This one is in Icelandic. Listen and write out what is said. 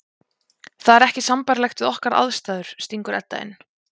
Það er ekki sambærilegt við okkar aðstæður, stingur Edda inn.